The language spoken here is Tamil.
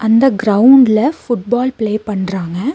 இந்த கிரௌண்ட்ல ஃபுட்பால் பிளே பண்றாங்க.